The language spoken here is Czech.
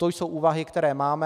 To jsou úvahy, které máme.